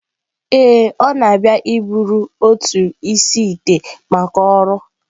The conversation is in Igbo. Ee, ọ na-abịa iburu otu isi-ite maka ọrụ